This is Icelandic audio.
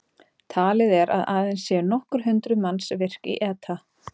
Talið er að aðeins séu nokkur hundruð manns virk í ETA.